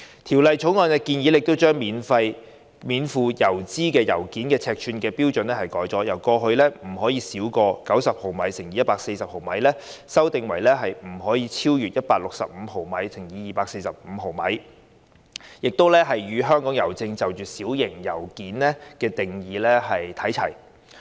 《條例草案》建議將免付郵資的信件尺寸標準，由過去不得超過90毫米乘以140毫米，修訂為不超逾165毫米乘以245毫米，與香港郵政就"小型信件"的定義看齊。